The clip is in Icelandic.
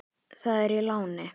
Það er í láni.